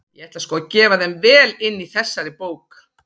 Ég ætla sko að gefa þeim vel inn í þessari bók!